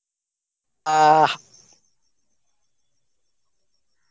আহ